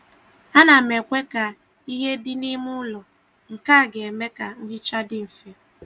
A na m ekwe ka ihe dị n'ime ụlọ, nke a ga-eme ka nhicha dị mfe.